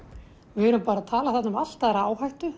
við erum að tala þarna um allt aðra áhættu